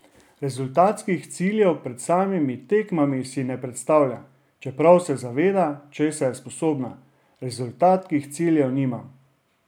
Rezultatskih ciljev pred samimi tekmami si ne postavlja, čeprav se zaveda, česa je sposobna: "Rezultatskih ciljev nimam.